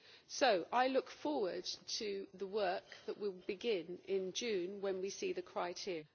So I look forward to the work that we will begin in June when we see the criteria.